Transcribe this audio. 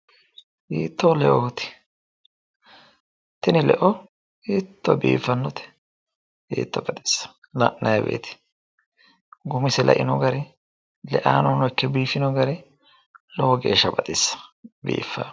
hiittoo leooti tini leo hiitto biiffannote hiitto baxissa la'nanni wote gumise leino gari leanni noohuno ikkino gari lowo lowo geeshsha baxissannote, biiffa